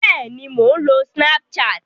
Bẹ́ẹ̀ni, mò ń lo snapchat